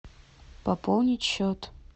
пополнить счет